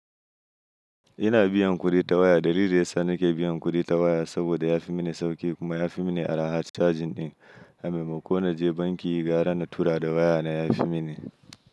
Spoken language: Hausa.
Ina biyan kuɗi ta waya. Dalilin da yasa nake biyan kuɗi ta waya saboda ya fi mini sauƙi kuma ya fi mini araha cajin ɗin. A maimako na je banki gara na tura da waya na ya fi mini.